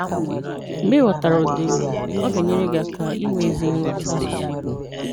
Mgbe ị ghọtara ụdaolu, ọ ga-enyere gị aka inwe ezi nghọta asụsụ Igbo